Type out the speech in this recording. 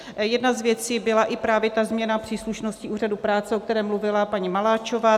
Jedna z věcí byla i právě ta změna příslušnosti úřadu práce, o které mluvila paní Maláčová.